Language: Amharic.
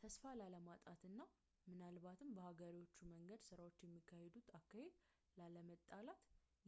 ተስፋ ላለማጣትና ምናልባትም በሀገሬዎቹ መንገድ ስራዎች የሚካሄዱበትን አካሄድ ላለመጣላት